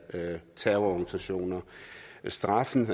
terrororganisationer straffens